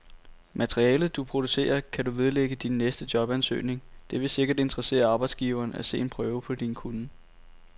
Materialet, du producerer, kan du vedlægge din næste jobansøgning, det vil sikkert interessere arbejdsgiveren at se en prøve på din kunnen.